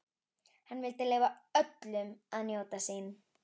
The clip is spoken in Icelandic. Hann vildi leyfa öllum að njóta sín.